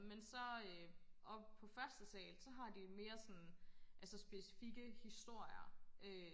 men så øh oppe på første sal så har de en mere sådan altså specifikke historier øh